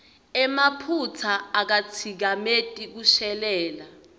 emaphutsa akatsikameti kushelela